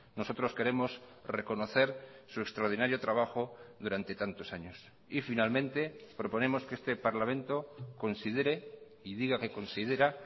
nosotros queremos reconocer su extraordinario trabajo durante tantos años y finalmente proponemos que este parlamento considere y diga que considera